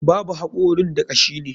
Babu hakorin da kashi ne.